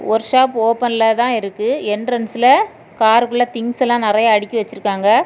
Work shop ஓபன்ல தான் இருக்கு எண்ட்ரன்ஸ்ல காருக்குள்ள திங்ஸ் எல்லாம் நெறைய அடுக்கி வச்சிருக்காங்க.